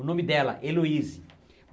O nome dela, Eloise